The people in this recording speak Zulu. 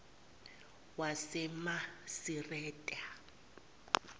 wasemasireta